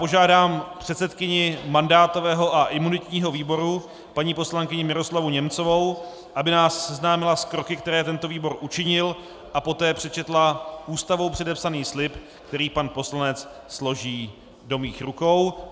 Požádám předsedkyni mandátového a imunitního výboru paní poslankyni Miroslavu Němcovou, aby nás seznámila s kroky, které tento výbor učinil, a poté přečetla Ústavou předepsaný slib, který pan poslanec složí do mých rukou.